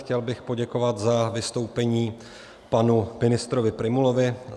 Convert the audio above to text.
Chtěl bych poděkovat za vystoupení panu ministrovi Prymulovi.